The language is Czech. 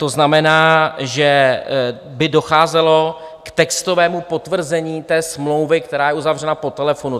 To znamená, že by docházelo k textovému potvrzení té smlouvy, která je uzavřena po telefonu.